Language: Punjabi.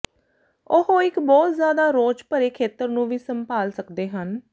ਉਹ ਇੱਕ ਬਹੁਤ ਜ਼ਿਆਦਾ ਰੌਚ ਭਰੇ ਖੇਤਰ ਨੂੰ ਵੀ ਸੰਭਾਲ ਸਕਦੇ ਹਨ